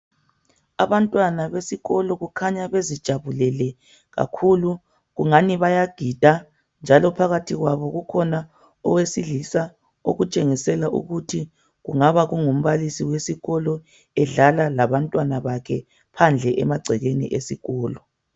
Abantwana besikolo kukhanya bezijabulele kakhulu kungani bayagida njalo phakathi kwabo kukhona owesilisa okutshengisela ukuthi kungaba kungumbalisi wesikolo edlala labantwana bakhe phandle emagcekeni esikolo.